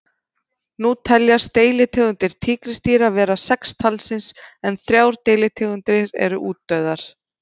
Nú teljast deilitegundir tígrisdýra vera sex talsins en þrjár deilitegundir eru útdauðar.